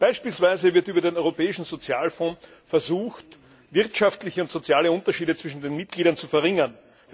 Beispielsweise wird über den Europäischen Sozialfonds versucht, wirtschaftliche und soziale Unterschiede zwischen den Mitgliedern zu verringern.